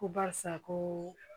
Ko barisa ko